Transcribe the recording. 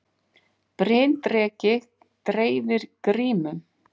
Bryndreki dreifir grímum